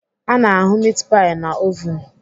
Ana ahụ mit pai na ovun.